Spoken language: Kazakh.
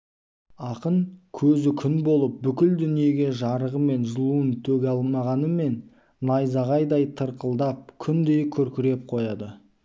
ақын көзі күн болып бүкіл дүниеге жарығы мен жылуын төге алмағанымен найзағайдай тырқылдап күндей күркіреп қояды